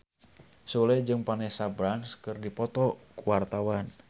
Sule jeung Vanessa Branch keur dipoto ku wartawan